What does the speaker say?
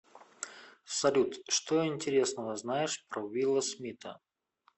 салют что интересного знаешь про уилла смита